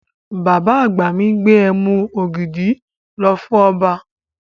Bàbá àgbà mi gbé ẹmu ògidì lọ fún ọba.